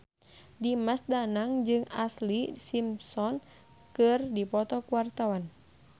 Dimas Danang jeung Ashlee Simpson keur dipoto ku wartawan